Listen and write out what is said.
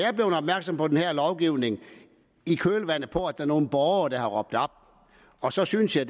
er blevet opmærksom på den her lovgivning i kølvandet på at der er nogle borgere der har råbt op og så synes jeg